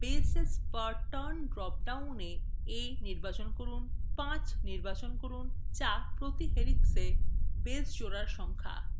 bases per turn drop down a a নির্বাচন করুন 5 নির্বাচন করুন: যা প্রতি helixa base জোড়ার সংখ্যা